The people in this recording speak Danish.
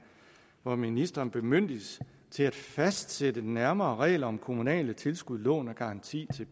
hvor ministeren bemyndiges til at fastsætte nærmere regler om kommunale tilskud lån og garanti